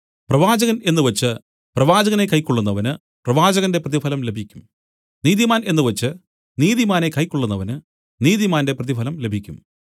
പ്രവാചകൻ എന്നുവച്ച് പ്രവാചകനെ കൈക്കൊള്ളുന്നവന് പ്രവാചകന്റെ പ്രതിഫലം ലഭിക്കും നീതിമാൻ എന്നുവച്ച് നീതിമാനെ കൈക്കൊള്ളുന്നവന് നീതിമാന്റെ പ്രതിഫലം ലഭിക്കും